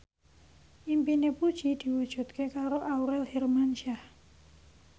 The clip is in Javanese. impine Puji diwujudke karo Aurel Hermansyah